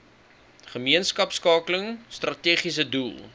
gemeenskapskakeling strategiese doel